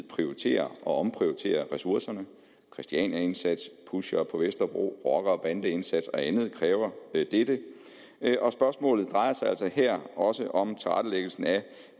prioritere og omprioritere ressourcerne christianiaindsats pushere på vesterbro rocker og bandeindsats og andet kræver dette spørgsmålet drejer sig altså her også om tilrettelæggelsen af